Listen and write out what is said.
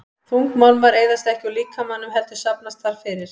Þungmálmar eyðast ekki úr líkamanum heldur safnast þar fyrir.